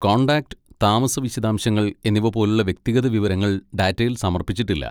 Contact, താമസ വിശദാംശങ്ങൾ എന്നിവ പോലുള്ള വ്യക്തിഗത വിവരങ്ങൾ ഡാറ്റയിൽ സമർപ്പിച്ചിട്ടില്ല.